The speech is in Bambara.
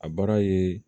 A baara ye